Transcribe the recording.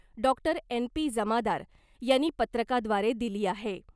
Doctor N P Jamadar यांनी पत्रकाद्वारे दिली आहे .